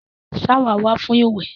Ṣáwà wà fún ìwẹ̀.